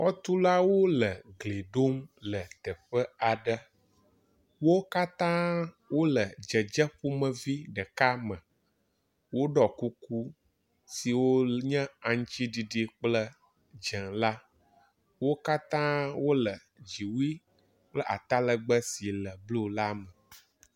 Xɔtulawo le gli ɖom le teƒe aɖe. Wo katã wo le dzedze ƒomevi ɖeka me. Woɖɔ kuku siwo nye aŋtsiɖiɖi kple dze la. Wo katã wo le dziwui kple atalegbe si le blu la me.